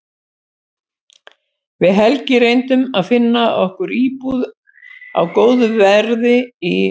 Við Helgi reyndum að finna okkur íbúð á góðu verði í